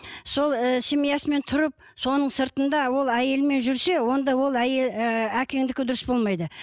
сол і семьясымен тұрып соның сыртында ол әйелмен жүрсе онда ол әйел ііі әкеңдікі дұрыс болмайды